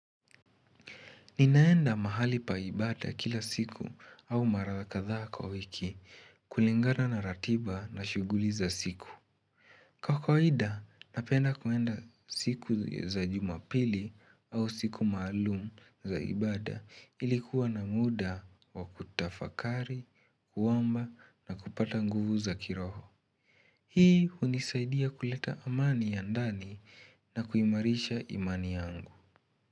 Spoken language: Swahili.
Ninaenda mahali pa ibada kila siku au mara wa kadhaa kwa wiki kulingana na ratiba na shughuli za siku. Kwa kawaida napenda kuenda siku za jumapili au siku maalum za ibada ili kuwa na muda wa kutafakari, kuomba na kupata nguvu za kiroho. Hii hunisaidia kuleta amani ya ndani na kuimarisha imani yangu.